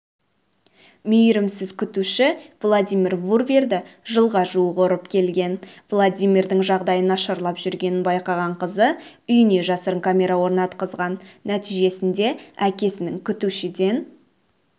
мейірімсіз күтуші владимир бруверді жылға жуық ұрып келген владимирдің жағдайы нашарлап жүргенін байқаған қызы үйіне жасырын камера орнатқызған нәтижесінде әкесінің күтушіден